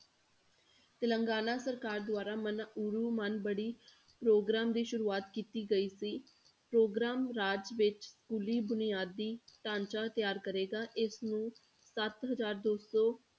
ਤਿਲੰਗਾਨਾ ਸਰਕਾਰ ਦੁਆਰਾ ਮਨਾਊੜੂ ਮਨਬੜੀ ਪ੍ਰੋਗਰਾਮ ਦੀ ਸ਼ੁਰੂਆਤ ਕੀਤੀ ਗਈ ਸੀ, ਪ੍ਰੋਗਰਾਮ ਰਾਜ ਵਿੱਚ ਸਕੂਲੀ ਬੁਨਿਆਦੀ ਢਾਂਚਾ ਤਿਆਰ ਕਰੇਗਾ, ਇਸਨੂੰ ਸੱਤ ਹਜ਼ਾਰ ਦੋ ਸੌ